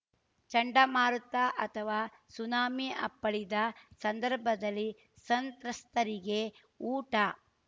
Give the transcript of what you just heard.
ಚಂಡಮಾರುತ ಅಥವಾ ಸುನಾಮಿ ಅಪ್ಪಳಿದ ಸಂದರ್ಭದಲ್ಲಿ ಸಂತ್ರಸ್ತರಿಗೆ ಊಟ